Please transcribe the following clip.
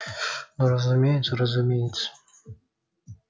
ну разумеется разумеется